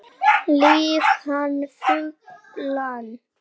Lýg hann fullan